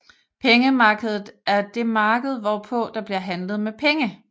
Pengemarkedet er det marked hvorpå der bliver handlet med penge